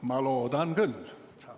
Ma loodan küll.